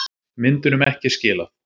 Myndunum ekki skilað